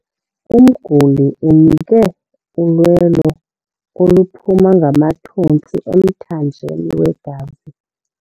Umguli unikwe ulwelo oluphuma ngamathontsi emthanjeni wegazi.